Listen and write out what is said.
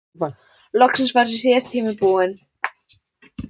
Loksins var þessi síðasti tími búinn.